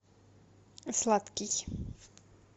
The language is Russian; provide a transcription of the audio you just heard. сладкий